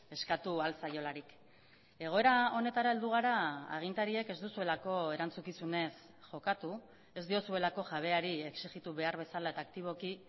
eskatu ahal zaiolarik egoera honetara heldu gara agintariek ez duzuelako erantzukizunez jokatu ez diozuelako jabeari exijitu behar bezala eta aktiboki